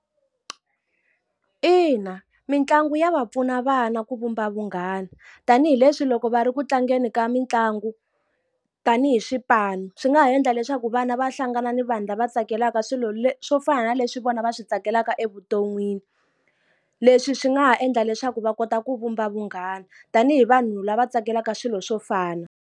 Ina mitlangu ya va pfuna vana ku vumba vunghana. Tanihileswi loko va ri ku tlangeni ka mitlangu tanihi swipanu, swi nga ha endla leswaku vana va hlangana ni vanhu lava tsakelaka swilo swo fana na leswi vona va swi tsakelaka evuton'wini. Leswi swi nga ha endla leswaku va kota ku vumba vunghana tanihi vanhu lava tsakelaka swilo swo fana.